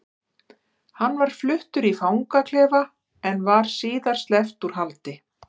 Hann var fluttur í fangaklefa en var síðar sleppt úr haldi.